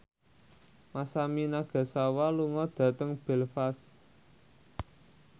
Masami Nagasawa lunga dhateng Belfast